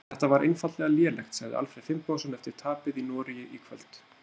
Þetta var einfaldlega lélegt, sagði Alfreð Finnbogason eftir tapið í Noregi í kvöld.